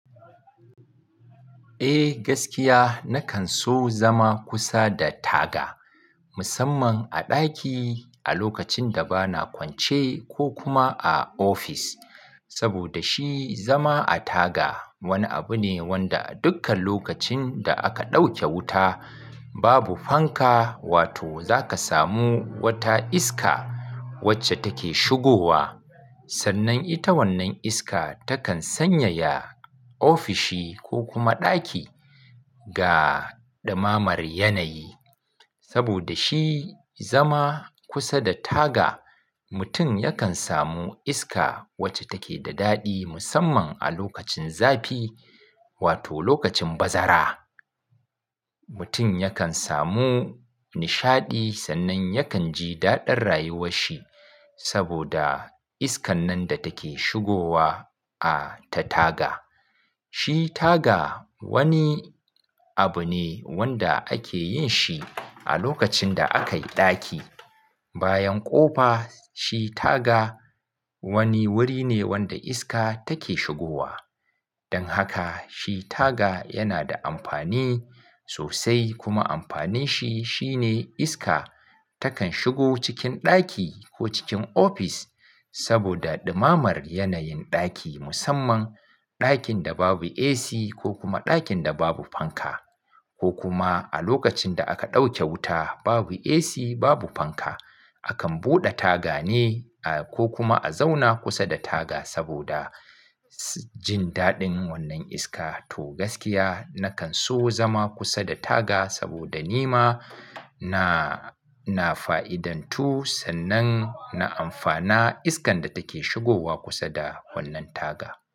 Eh gaskiya nakan so zama kusa da taga musamman a ɗaki, a lokacin da ba na kwance, ko kuma a ofis. Saboda, shi zama a taga wani abu ne wanda dukkan lokacin da aka ɗauke wuta babu fanka wato zaka samu wata iska wacce take shigowa. Sannan ita wannan iska takan sanyaya ofishi ko kuma ɗaki ga ɗumamar yanayi. Saboda shi zama kusa da taga mutum yakan samu iska wacce take da daɗi musamman a lokacin zafi wato lokacin bazara. Mutum yakan samu nishaɗi, sannan yakan ji daɗar rayuwar shi saboda iskan nan da take shigowa a ta taga. Shi taga, wani abu ne wanda ake yin shi a lokacin da aka yi ɗaki. Bayan ƙofa, shi taga wani wuri ne wanda iska take shigowa. Dan haka shi taga yana da amfani sosai, kuma amfanin shi shine iska takan shigo cikin ɗaki, ko cikin ofis saboda ɗumammar yanayin ɗaki musamman ɗakin da babu AC ko kuma ɗakin da babu fanka. Ko kuma a lokacin da aka ɗauke wuta babu AC babu fanka, akan buɗe taga ne ko kuma a zauna kusa da taga, saboda jin daɗin wannan iska. Toh gaskiya nakan so zama kusa da taga, saboda ni ma na, na fa'idantu, sannan na amfana iskan da take shigowa kusa da wannan taga.